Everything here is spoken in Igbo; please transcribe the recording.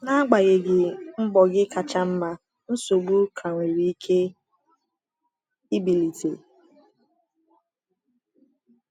N’agbanyeghị mbọ gị kacha mma, nsogbu ka nwere ike ibilite.